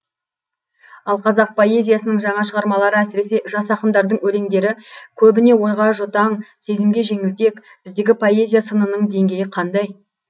ал қазақ поэзиясының жаңа шығармалары әсіресе жас ақындардың өлеңдері көбіне ойға жұтаң сезімге жеңілтек біздегі поэзия сынының деңгейі қандай